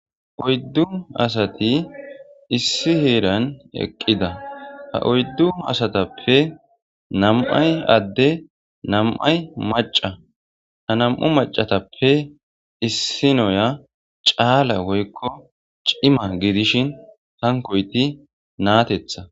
oyddu asati issi heeran eqqida ha oyddu asatappe nam7ay adde nam7ay maca ha nam7u macatappe issi noya caala woykko cima giidishin hankoyti naatetha